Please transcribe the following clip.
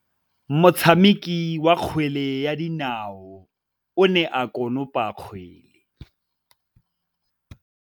Motshameki wa kgwele ya dinaô o ne a konopa kgwele.